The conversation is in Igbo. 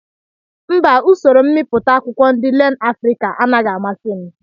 Mbà usoro mbipụta akwụkwọ ndị LearnAfrica anaghị amasi m